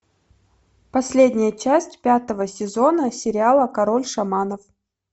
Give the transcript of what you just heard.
последняя часть пятого сезона сериала король шаманов